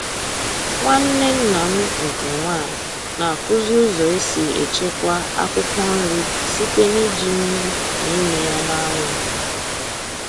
Nwanne nna m nke nwanyị na-akụzi ụzọ e si echekwa akwụkwọ nri site n'iji nnu na ịmị ya n'anwụ